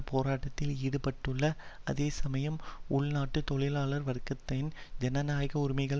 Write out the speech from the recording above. போராட்டத்தில் ஈடுபட்டுள்ள அதே சமயம் உள்நாட்டில் தொழிலாளர் வர்க்கத்தின் ஜனநாயக உரிமைகள்